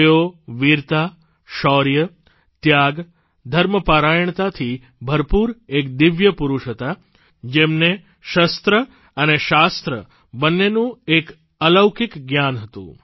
તેઓ વીરતા શૌર્ય ત્યાગ ધર્મપરાયણતાથી ભરપૂર એક દિવ્ય પુરૂષ હતા જેમને શસ્ત્ર અને શાસ્ત્ર બંનેનું એક અલૌકિક જ્ઞાન હતું